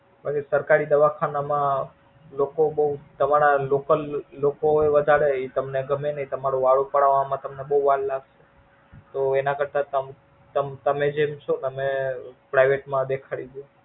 પછી સરકારી દવાખાના માં લોકો બોવ તમારા local લોકો હોય વધારે તો ઈ તમને ગમે નઈ તમારું વાળું પડાવવામાં તમને બોવ વાર લાગશે. તો એના કરતા તમ તમે જેમ ચો તમે Private માં દેખાડી દ્દયો.